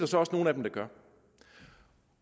så også nogle af dem der gør